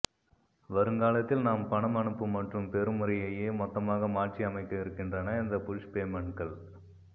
வருங்காலத்தில் நாம் பணம் அனுப்பும் மற்றும் பெரும் முறையையே மொத்தமாக மாற்றியமைக்கவிருக்கின்றன இந்த புஷ் பேமன்ட்கள்